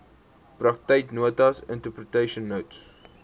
praktyknotas interpretation notes